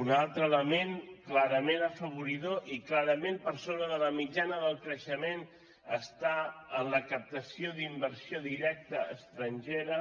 un altre element clarament afavoridor i clarament per sobre de la mitjana del creixement està en la captació d’inversió directa estrangera